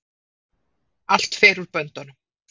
Allt fer úr böndunum